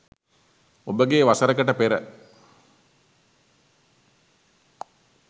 ඔබගේ වසරකට පෙර